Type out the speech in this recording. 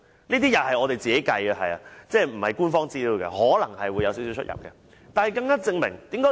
這些是我們自行計算的，不是官方資料，可能會有少許差異。